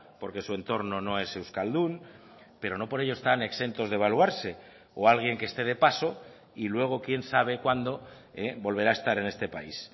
porque su entorno no es euskaldun pero no por ello están exentos de evaluarse o alguien que esté de paso y luego quien sabe cuándo volverá a estar en este país